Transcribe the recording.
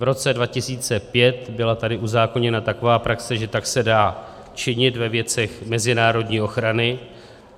V roce 2005 tady byla uzákoněna taková praxe, že tak se dá činit ve věcech mezinárodní ochrany.